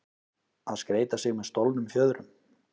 Að skreyta sig með stolnum fjöðrum